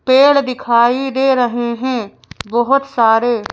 पेड़ दिखाई दे रहे हैं बहुत सारे--